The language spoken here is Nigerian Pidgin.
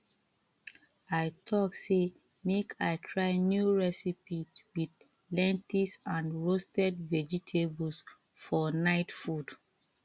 i talk say make i try new recipe with lentils and roasted vegetables for night food